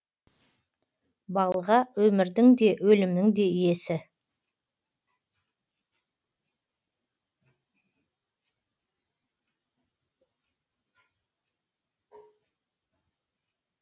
балға өмірдің де өлімнің де иесі